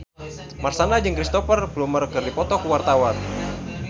Marshanda jeung Cristhoper Plumer keur dipoto ku wartawan